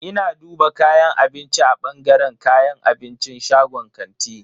Ina duba kayan abinci a bangaren kayan abincin shagon kantin.